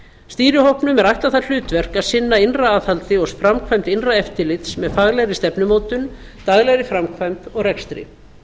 stýrihópnum er ætlað það hlutverk að sinna innra aðhaldi og framkvæmd innra eftirlits með faglegri stefnumótun daglegri framkvæmd og rekstri